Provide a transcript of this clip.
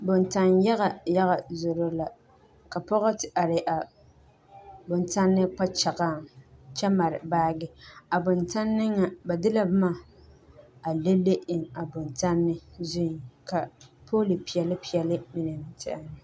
Boŋtaŋ yaga yaga zoro la ka pɔgɔ te are a boŋtanne kpakyagaŋ kyɛ mare baagi a boŋtanne ŋa ba de la boma le le eŋ a boŋtanne zuiŋ ka pɔli peɛle peɛle mine ti are.